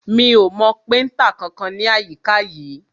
Mi ò mọ péntà kankan ní àyíká yìí.